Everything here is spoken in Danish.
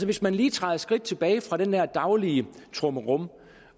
hvis man lige træder et skridt tilbage fra den der daglige trummerum